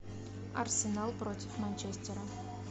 арсенал против манчестера